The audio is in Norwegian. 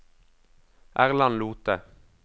Erland Lothe